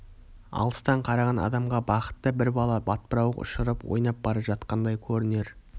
алыстан қараған адамға бақытты бір бала батпырауық ұшырып ойнап бара жатқандай көрінер